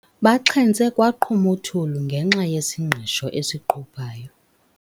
Baxhentse kwaqhuma uthuli ngenxa yesingqisho esiquphayo.